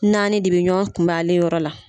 Naani de bɛ ɲɔn kunbɛn ale yɔrɔ la.